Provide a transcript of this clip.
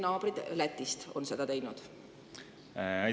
Sealhulgas on nii teinud meie naabrid Lätis.